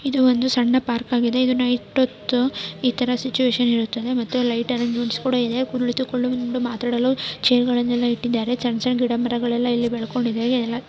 ಇದು ಒಂದು ಸಣ್ಣ ಪಾರ್ಕ್ ಆಗಿದೆ ಇದನ್ನು ಇತರ ಸಿಚುವೇಶನ್ ಇರುತ್ತದೆ ಮತ್ತೆ ಲೈಟ್ ಅರೇಂಜ್ಮೆಂಟ್ ಕೂಡ ಇದೆ ಕುಳಿತುಕೊಳ್ಳಲು ಮಾತನಾಡಲು ಚೇರ್ ಗಳನ್ನೆಲ್ಲ ಇಟ್ಟಿದ್ದಾರೆ ಸಣ್ಣ ಸಣ್ಣ ಗಿಡಮರಗಳೆಲ್ಲ ಇಲ್ಲಿ ಬೆಳಕೊಂಡಿದ್ದಾವೆ --